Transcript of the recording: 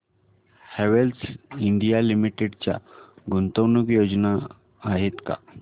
Havells India limited च्या गुंतवणूक योजना आहेत का